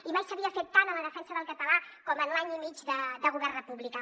i mai s’havia fet tant per la defensa del català com en l’any i mig de govern republicà